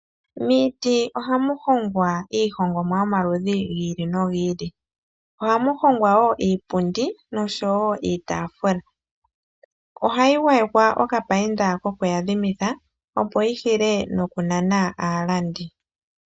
Miiti ohamu hongwa iihongomwa yomaludhi gi ili nogi ili. Ohamu hongwa wo iipundi nosho wo iitafula ohayi gwayekwa okapainta ko ku yadhimitha opo yi hile nokunana aalandi.